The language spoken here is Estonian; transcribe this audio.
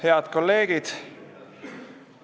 Head kolleegid!